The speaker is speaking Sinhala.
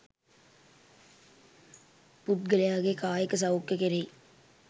පුද්ගලයාගේ කායික සෞඛ්‍යය කෙරෙහි